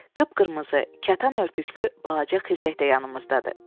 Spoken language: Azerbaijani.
Qıpqırmızı kətan örtüklü balaca xizək də yanımızdadır.